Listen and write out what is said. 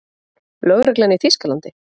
Lögreglan í Þýskalandi?